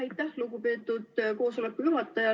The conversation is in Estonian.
Aitäh, lugupeetud koosoleku juhataja!